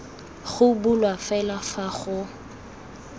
go bulwa fela fa go